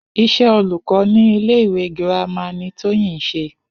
Is̩é̩ olùkó ní ilé ìwé girama ni Tóyìn ń s̩e